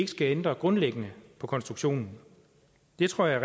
skal ændre grundlæggende på konstruktionen det tror jeg